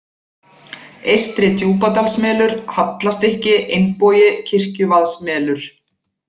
Eystri-Djúpadalsmelur, Hallastykki, Einbogi, Kirkjuvaðsmelur